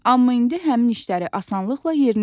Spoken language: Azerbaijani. Amma indi həmin işləri asanlıqla yerinə yetirirəm.